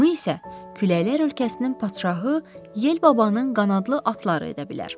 Bunu isə küləklər ölkəsinin padşahı Yel babanın qanadlı atları edə bilər.